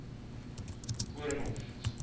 koornhof